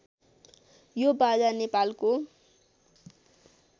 यो बाजा नेपालको